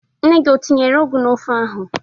Nne gi o tinyere ụgwụ n'ofe ahụ.